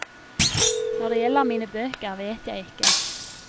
Når det gjelder mine bøker, vet jeg ikke.